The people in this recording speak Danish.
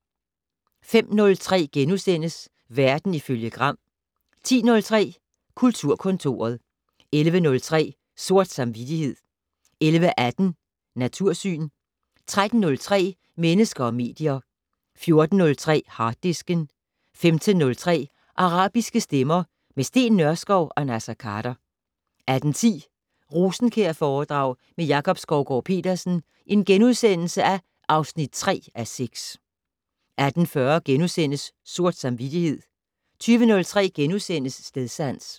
05:03: Verden ifølge Gram * 10:03: Kulturkontoret 11:03: Sort samvittighed 11:18: Natursyn 13:03: Mennesker og medier 14:03: Harddisken 15:03: Arabiske stemmer - med Steen Nørskov og Naser Khader 18:10: Rosenkjærforedrag med Jakob Skovgaard-Petersen (3:6)* 18:40: Sort samvittighed * 20:03: Stedsans *